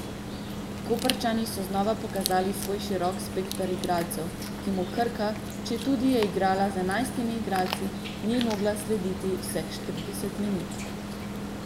Koprčani so znova pokazali svoj širok spekter igralcev, ki mu Krka, četudi je igrala z enajstimi igralci, ni mogla slediti vseh štirideset minut.